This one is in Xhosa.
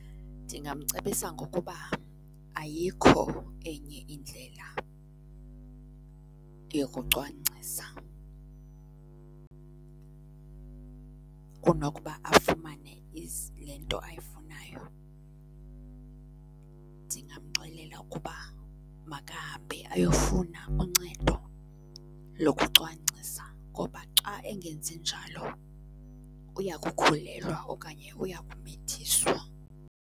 Ndingamcebisa ngokuba ayikho enye indlela yokucwangcisa kunokuba afumane le nto ayifunayo. Ndingamxelela ukuba makahambe ayofuna uncedo lokucwangcisa ngoba xa engenzi njalo uya kukhulelwa okanye uya kumithiswa.